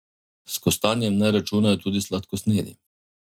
S kostanjem naj računajo tudi sladkosnedi.